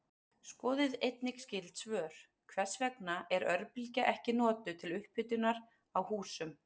Skoðið einnig skyld svör: Hvers vegna er örbylgja ekki notuð til upphitunar á húsum?